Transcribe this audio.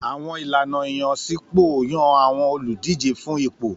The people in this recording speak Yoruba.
Àwọn ìlànà ìyànsípò yàn àwọn olùdíje fún ipò.